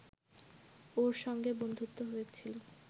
ওঁর সঙ্গে বন্ধুত্ব হয়েছিল